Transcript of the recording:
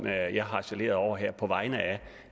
jeg jeg harcelerer over her på vegne af